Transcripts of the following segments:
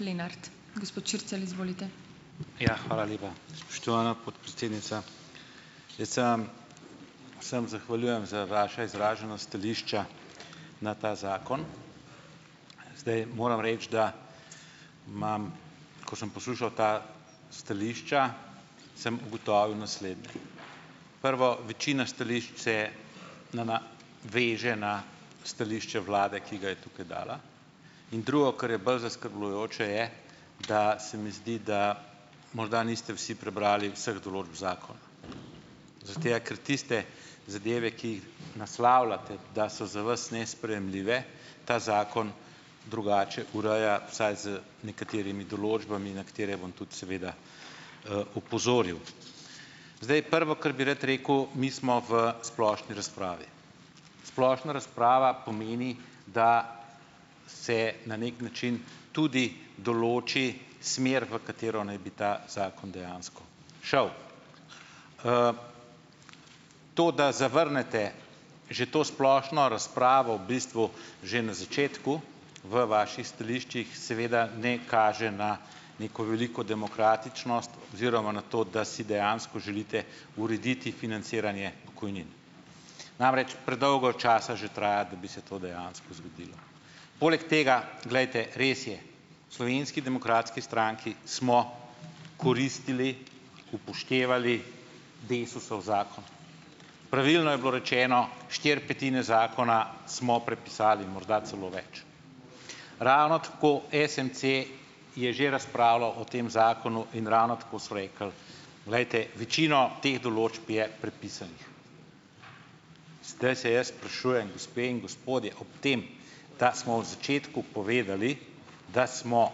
Lenart, gospod Črcelj, izvolite. Ja, hvala lepa, spoštovana podpredsednica, jaz sem vsem zahvaljujem za vaša izražena stališča na ta zakon. Zdaj moram reči, da imam, ko sem poslušal ta stališča, sem ugotovil naslednje: prvo, večina stališč se veže na stališče vlade, ki ga je tukaj dala, in drugo, kar je bolj zaskrbljujoče, je, da se mi zdi, da morda niste vsi prebrali vseh določb zakona zaradi tega, ker tiste zadeve, ki naslavljate, da so za vas nesprejemljive, ta zakon drugače ureja vsaj z nekaterimi določbami, na katere bom tudi seveda opozoril. Zdaj, prvo, kar bi rad rekel, mi smo v splošni razpravi, splošna razprava pomeni, da se na neki način tudi določi smer, v katero naj bi ta zakon dejansko šel, to, da zavrnete že to splošno razpravo v bistvu že na začetku v vaših stališčih, seveda ne kaže na neko veliko demokratičnost oziroma na to, da si dejansko želite urediti financiranje pokojnin, namreč predolgo časa že traja, da bi se to dejansko zgodilo, poleg tega, glejte, res je v Slovenski demokratski stranki smo koristili, upoštevali DESUS-ov zakon, pravilno je bilo rečeno, štiri petine zakona smo prepisali, morda celo več, ravno tako SMC je že razpravljal o tem zakonu in ravno tako so rekli, glejte, večino teh določb je prepisanih, ste se, jaz sprašujem, gospe in gospodje, ob tem, da smo v začetku povedali, da smo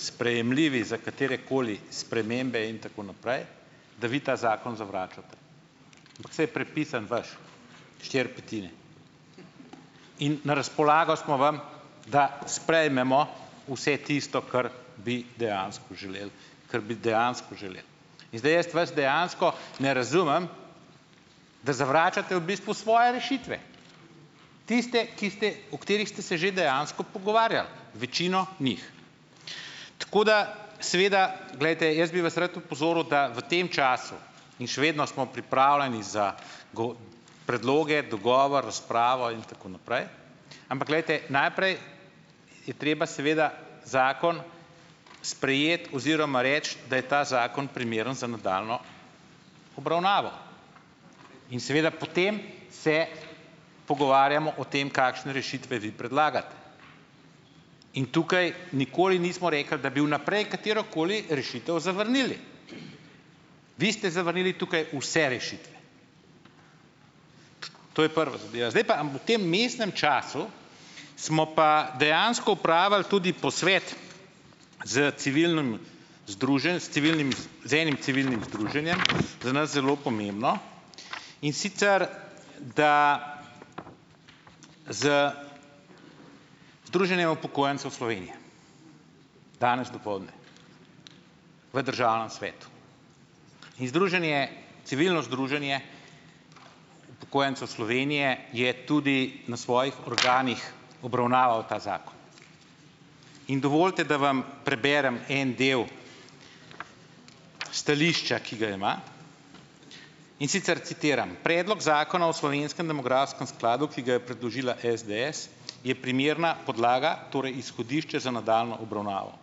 sprejemljivi za katerekoli spremembe in tako naprej, da vi ta zakon zavračate, ampak saj je prepisan vaš štiri petine in na razpolago smo vam, da sprejmemo vse tisto, kar bi dejansko želel, kar bi dejansko želel, in zdaj jaz vas dejansko ne razumem, da zavračate v bistvu svoje rešitve, tiste, ki ste, o katerih ste se že dejansko pogovarjali večino njih, tako da, seveda, glejte, jaz bi vas rad opozoril, da v tem času, in še vedno smo pripravljeni za predloge, dogovor, razpravo in tako naprej, ampak, glejte, najprej je treba seveda zakon sprejeti oziroma reči, da je ta zakon primeren za nadaljnjo obravnavo, in seveda po tem se pogovarjamo o tem, kakšne rešitve vi predlagate, in tukaj nikoli nismo rekli, da bi vnaprej katerokoli rešitev zavrnili, vi ste zavrnili tukaj vse rešitve, to je prva zadeva, zdaj pa, a v tem vmesnem času smo pa dejansko opravili tudi posvet s civilnim s civilnimi, z enim civilnim združenjem za nas zelo pomembno, in sicer da z združenjem upokojencev Slovenije danes dopoldne v državnem svetu in združenje, civilno združenje upokojencev Slovenije je tudi na svojih programih obravnaval ta zakon in dovolite, da vam preberem en del stališča, ki ga ima, in sicer citiram predlog zakona o slovenskem demografskem skladu, ki ga je predložila SDS, je primerna podlaga torej izhodišče za nadaljnjo obravnavo,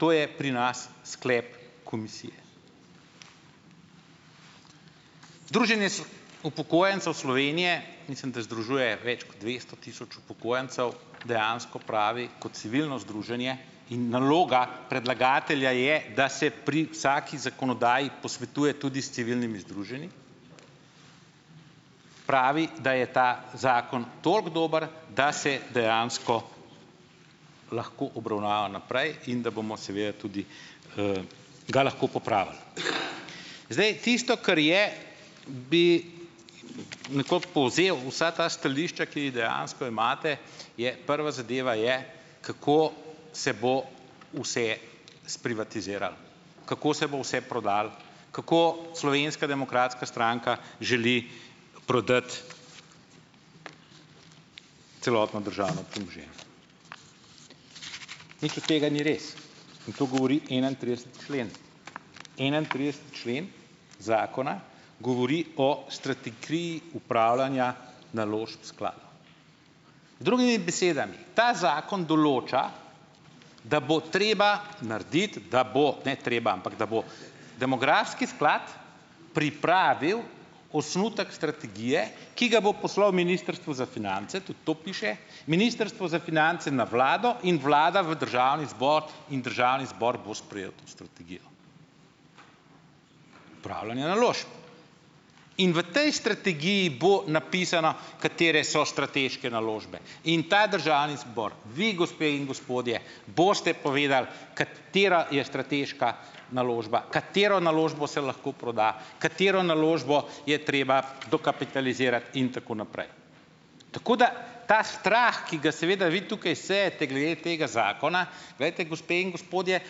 to je pri nas sklep komisije druženje so upokojencev Slovenije, mislim, da združuje več kot dvesto tisoč upokojencev dejansko, pravi kot civilno združenje in naloga predlagatelja je, da se pri vsaki zakonodaji posvetuje tudi s civilnimi združenji, pravi, da je ta zakon toliko dober, da se dejansko lahko obravnava naprej in da bomo seveda tudi ga lahko popravili, zdaj tisto, kar je, bi nekoliko povzel vsa ta stališča, ki jih dejansko imate, je prva zadeva je, kako se bo vse sprivatiziralo, kako se bo vse prodalo, kako Slovenska demokratska stranka želi prodati celotno državo, nekaj od tega ni res in to govori enaintrideseti člen, enaintrideseti člen zakona govori o strategiji upravljanja naložb sklada, drugimi besedami, ta zakon določa, da bo treba narediti, da bo ne treba, ampak da bo demografski sklad pripravil osnutek strategije, ki ga bo poslal ministrstvu za finance, tudi to piše, ministrstvo za finance na vlado in vlada v državni zbor in državni zbor bo sprejel to strategijo upravljanja naložb in v tej strategiji bo napisano, katere so strateške naložbe, in ta je državni zbor, vi, gospe in gospodje, boste povedali, katera je strateška naložba, katero naložbo se lahko proda, katero naložbo je treba dokapitalizirati in tako naprej, tako da ta strah, ki ga seveda vi tukaj sejete glede tega zakona, glejte, gospe in gospodje,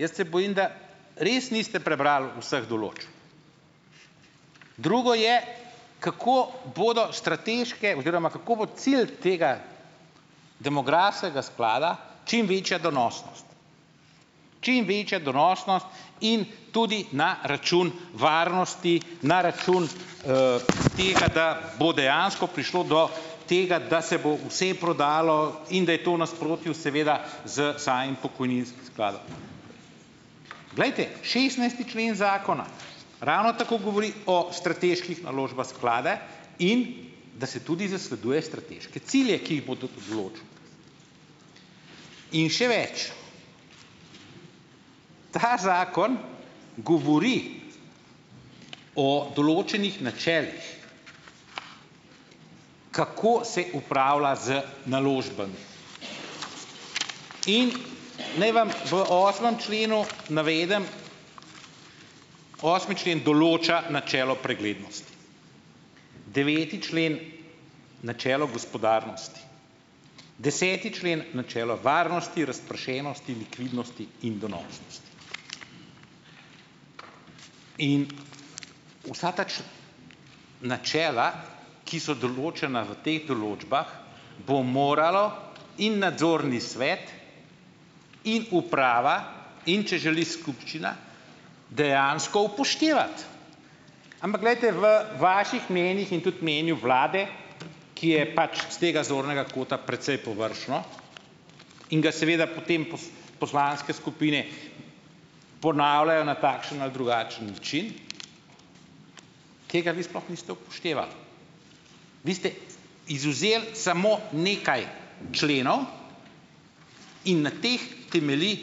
jaz se bojim, da res niste prebrali vseh določb, drugo je, kako bodo strateške oziroma kako bo cilj tega demografskega sklada čim večja donosnost čim večja donosnost in tudi na račun varnosti, na račun tega, da bo dejansko prišlo do tega, da se bo vse prodalo in da je to v nasprotju seveda s samim pokojninskim skladom, glejte, šestnajsti člen zakona ravno tako govori o strateških naložbah sklada in da se tudi zasleduje strateške cilje, ki jih bodo določil, in še več, ta zakon govori o določenih načelih, kako se upravlja z naložbami in naj vam v osmem členu navedem, osmi člen določa načelo preglednosti, deveti člen načelo gospodarnosti, deseti člen načelo varnosti, razpršenosti, likvidnosti in donosnosti in vsa ta načela, ki so določena v teh določbah, bo moralo in nadzorni svet in uprava, in če želi, skupščina dejansko upoštevati, ampak, glejte, v vaših mnenjih in tudi mnenju vlade, ki je pač iz tega zornega kota precej površno in ga seveda po tem poslanske skupine ponavljajo na takšen ali drugačen način, tega vi sploh niste upoštevali, vi ste izvzeli samo nekaj členov in na teh temelji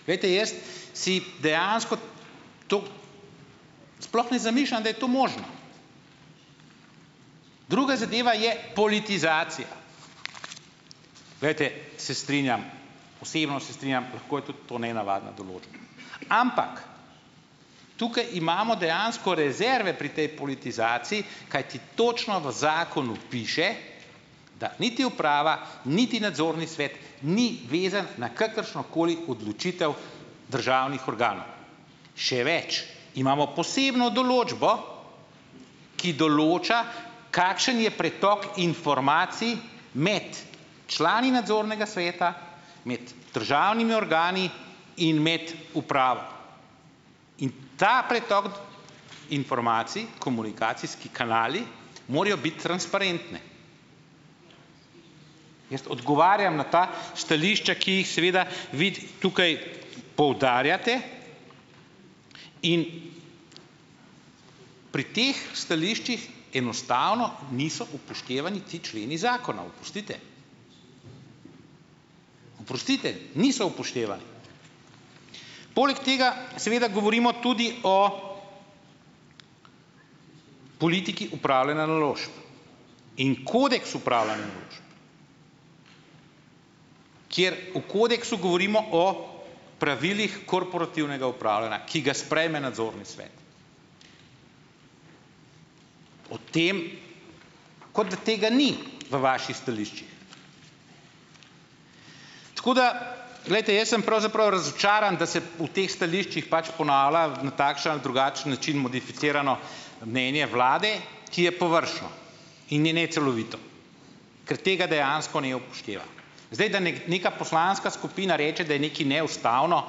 mnenje, glejte, jaz si dejansko sploh ne zamišljam, da je to možno, druga zadeva je politizacija, glejte, se strinjam vseeno se strinjam, lahko je tudi to nenavadna določba, ampak tukaj imamo dejansko rezerve pri tej politizaciji, kajti točno v zakonu piše, da niti uprava niti nadzorni svet ni vezan na kakršno koli odločitev državnih organov, še več, imamo posebno določbo, ki določa, kakšen je pretok informacij med člani nadzornega sveta, med državnimi organi in med upravo in ta pretok informacij, komunikacijski kanali morajo biti transparentni, jaz odgovarjam na ta stališča, ki jih seveda vi tukaj poudarjate, in pri teh stališčih enostavno niso upoštevani ti členi zakonov, oprostite, oprostite, niso upoštevani, poleg tega seveda govorimo tudi o politiki upravljanja naložb in kodeks upravljanja naložb, kjer o kodeksu govorimo o pravilih korporativnega upravljanja, ki ga sprejme nadzorni svet, o tem, kot da tega ni v vaših stališčih, tako da, glejte, jaz sem pravzaprav razočaran, da se v teh stališčih pač ponavlja na takšen ali drugačen način modificirano mnenje vlade, ki je površno in je necelovito, ker tega dejansko ne upoštevam, zdaj da neka poslanska skupina reče, da je nekaj neustavno,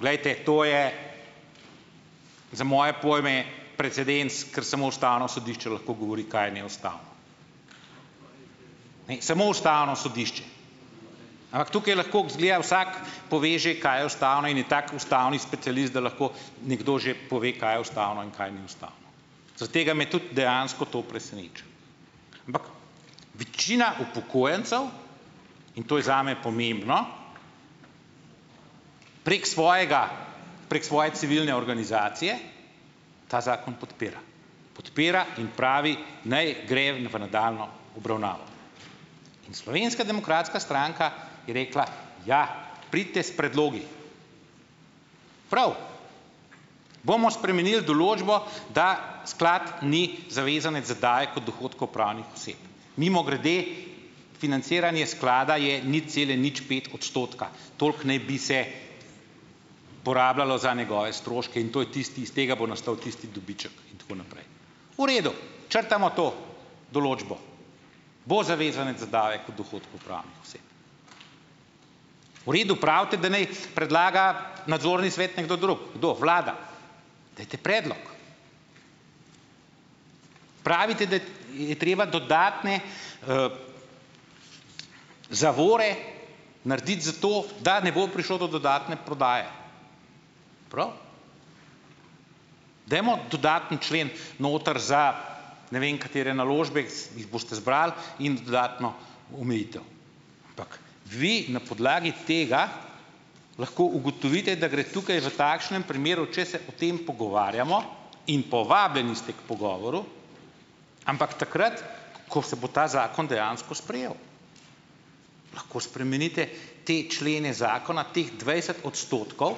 glejte, to je za moje pojme precedens, ker samo ustavno sodišče lahko govori, kaj je neustavno, ne samo ustavno sodišče, ampak tukaj lahko, izgleda, vsak poveže, kaj je ustavno, in je tako ustavni specialist, da lahko nekdo že pove, kaj je ustavno in kaj ni ustavno, zaradi tega me tudi dejansko to preseneča, ampak večina upokojencev, in to je zame pomembno, prek svojega, prek svoje civilne organizacije ta zakon podpira, podpira in pravi, naj gre v nadaljnjo obravnavo. Slovenska demokratska stranka je rekla, ja, pridite s predlogi, prav, bomo spremenil določbo, da sklad ni zavezanec zadaje kot dohodkov pravnih oseb, mimogrede, financiranje sklada je nič cele nič pet odstotka, toliko naj bi se porabljalo za njegove stroške in to je tisto, iz tega bo nastal tisti dobiček in tako naprej, v redu, črtamo to določbo, bo zavezanec v redu, pravite, da naj predlaga nadzorni svet nekdo drug, kdo, vlada, dajte predlog, pravite, da je treba dodatne zavore narediti, zato da ne bo prišlo do dodatne prodaje, dajmo dodatni člen noter za ne vem katere naložbe z jih boste zbrali in dodatno omejitev, ampak vi na podlagi tega lahko ugotovite, da gre tukaj v takšnem primeru, če se o tem pogovarjamo, in povabljeni ste k pogovoru, ampak takrat, ko se bo ta zakon dejansko sprejel, lahko spremenite te člene zakona teh dvajset odstotkov,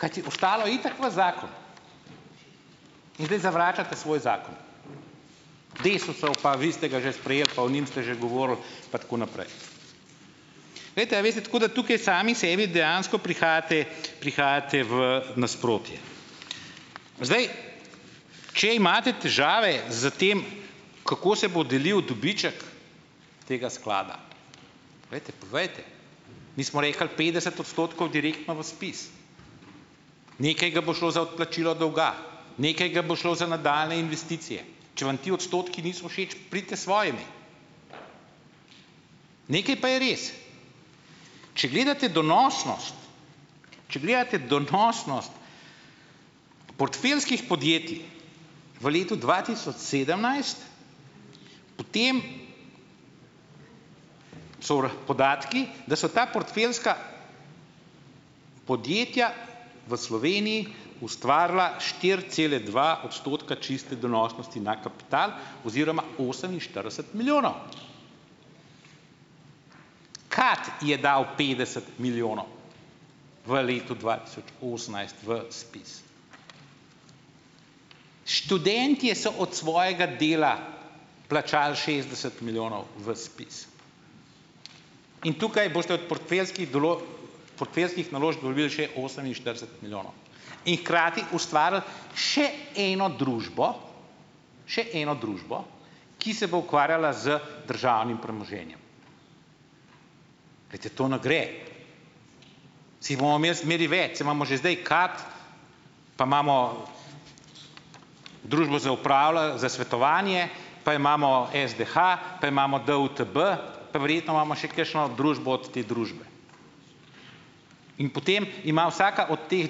kajti bo stalo itak v zakon, in zdaj zavračate svoj zakon DESUS-ov, pa vi ste ga že sprejeli, pa o njim ste že govorili pa tako naprej, glejte, a veste, tako da tukaj sami sebi dejansko prihajate, prihajate v nasprotje, zdaj, če imate težave s tem, kako se bo delil dobiček tega sklada, glejte, povejte, mi smo rekli petdeset odstotkov direktno v ZPIZ, nekaj ga bo šlo za odplačilo dolga, nekaj ga bo šlo za nadaljnje investicije, če vam ti odstotki niso všeč pridite s svojimi, nekaj pa je res, če gledate donosnost, če gledate donosnost portfeljskih podjetij v letu dva tisoč sedemnajst, potem so podatki, da so ta portfeljska podjetja v Sloveniji ustvarila štiri cele dva odstotka čiste donosnosti na kapital oziroma oseminštirideset milijonov krat, je dal petdeset milijonov v letu dva tisoč osemnajst v ZPIZ, študentje so od svojega dela plačal šestdeset milijonov v ZPIZ, in tukaj boste od portfeljskih portfeljskih naložb dobili še oseminštirideset milijonov in hkrati ustvarili še eno družbo, še eno družbo, ki se bo ukvarjala z državnim premoženjem, glejte, to ne gre, saj jih bomo imeli zmeraj več, saj imamo že zdaj KAD, pa imamo družbo za za svetovanje, pa imamo SDH, pa imamo DUTB, pa verjetno imamo še kakšno družbo od te družbe in potem ima vsaka od teh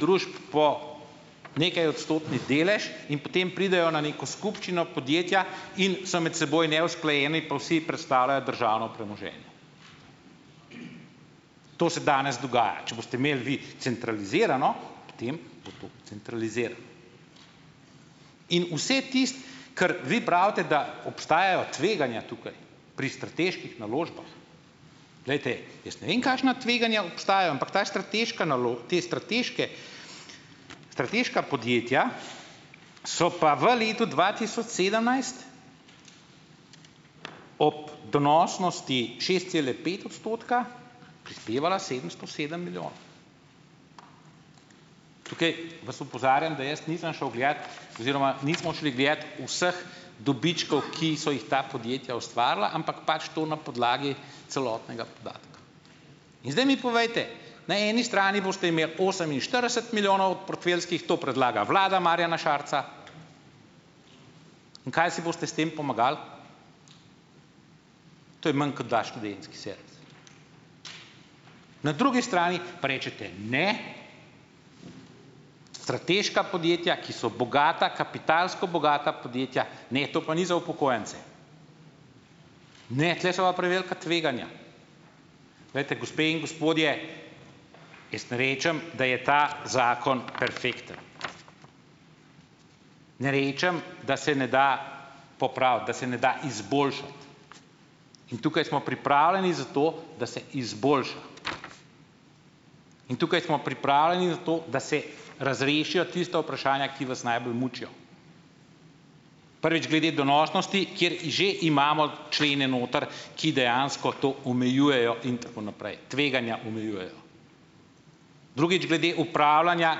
družb po nekajodstotni delež in potem pridejo na neko skupščino podjetja in so med seboj neusklajeni pa vsi predstavljajo državno premoženje, to se danes dogaja, če boste imeli vi centralizirano, potem bo to centralizirano in vse tisto, kar vi pravite, da obstajajo tveganja tukaj pri strateških naložbah, glejte, jaz ne vem, kakšna tveganja obstajajo, ampak ta strateška ta strateške strateška podjetja so pa v letu dva tisoč sedemnajst ob donosnosti šest cele pet odstotka prispevala sedemsto sedem milijonov, tukaj vas opozarjam, da jaz nisem šel gledat oziroma nismo šli gledat vseh dobičkov, ki so jih ta podjetja ustvarila, ampak pač to na podlagi celotnega podatka in zdaj mi povejte na eni strani boste imeli oseminštirideset milijonov portfeljskih, to predlaga vlada Marjana Šarca, in kaj si boste s tem pomagali, to je manj, kot da študentski servis, na drugi strani pa rečete, ne, strateška podjetja, ki so bogata, kapitalsko bogata podjetja, ne, to pa ni za upokojence, ne, tule so pa prevelika tveganja, glejte, gospe in gospodje, jaz ne rečem, da je ta zakon perfekten, ne rečem, da se ne da popraviti, da se ne da izboljšati, in tukaj smo pripravljeni za to da se izboljša in tukaj smo pripravljeni za to, da se razrešijo tista vprašanja, ki vas najbolj mučijo, prvič, glede donosnosti, kjer že imamo člene noter, ki dejansko to omejujejo in tako naprej, tveganja omejujejo, drugič, glede opravljanja,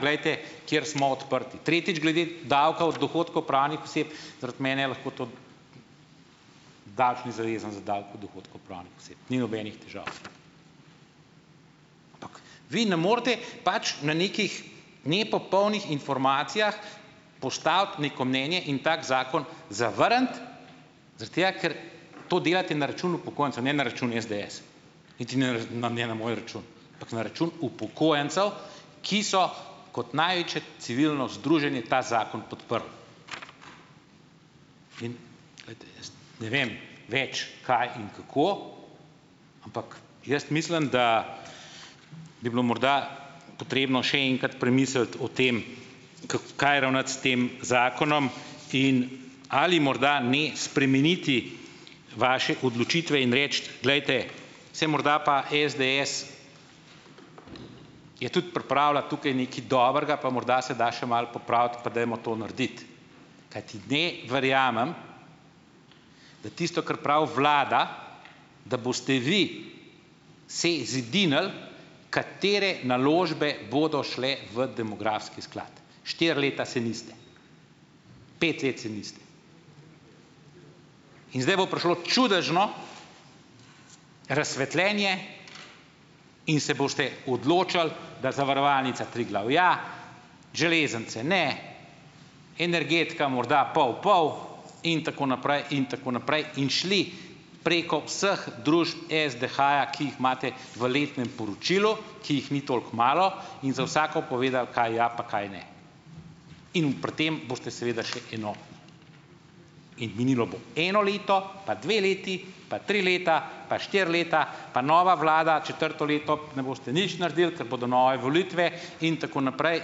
glejte, kjer smo odprti, tretjič, glede davka od dohodkov pravnih oseb, zaradi mene lahko to, ni nobenih težav, vi ne morete pač na nekih nepopolnih informacijah postaviti neko mnenje in tako zakon zavrniti zaradi tega, ker to delate na račun upokojencev, ne na račun SDS, niti ne na ne na moj račun, ampak na račun upokojencev, ki so kot največje civilno združenje ta zakon podprli, in, glejte, jaz ne vem več, kaj in kako, ampak jaz mislim, da bi bilo morda potrebno še enkrat premisliti o tem, kaj ravnati s tem zakonom in ali morda ne spremeniti vaše odločitve in reči, glejte, saj morda pa SDS je tudi pripravila tukaj nekaj dobrega pa morda se da še malo popraviti, pa dajmo to narediti, kajti ne verjamem, da tisto, kar pravi vlada, da boste vi se zedinili, katere naložbe bodo šle v demografski sklad, štiri leta se niste, pet let se niste, in zdaj bo prišlo čudežno razsvetljenje in se boste odločali, da zavarovalnica Triglav ja, železnice ne, energetika morda pol pol in tako naprej in tako naprej, in šli preko vseh družb SDH-ja, ki jih imate v letnem poročilu, ki jih ni toliko malo in za vsako povedali, kaj ja pa kaj ne, in v pri tem boste seveda še kaj, no, in minilo bo eno leto pa dve leti pa tri leta pa štiri leta, pa nova vlada četrto leto ne boste nič naredili, ker bodo nove volitve, in tako naprej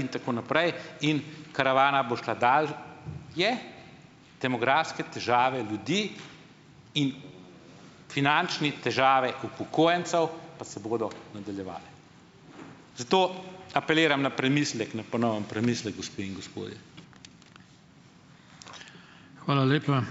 in tako naprej in karavana bo šla dal je, demografske težave ljudi in finančne težave upokojencev pa se bodo nadaljevale, zato apeliram na premislek, na ponoven premislek, gospe in gospodje, hvala lepa.